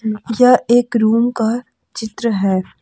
यह एक रूम का चित्र है।